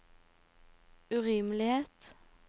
urimelighet